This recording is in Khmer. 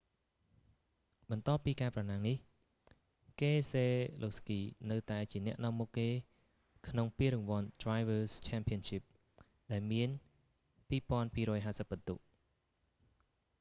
បន្ទាប់ពីការប្រណាំងនេះ កេសេឡូវស្គី នៅតែជាអ្នកនាំមុខគេក្នុងពានរង្វាន់ drivers' championship ដែលមាន 2,250 ពិន្ទុ